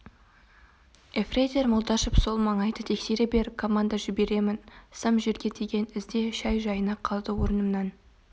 ефрейтор молдашев сол маңайды тексере бер команда жіберемін сым жерге тиген ізде шай жайына қалды орнымнан